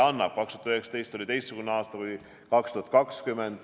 Aasta 2019 oli teistsugune kui 2020.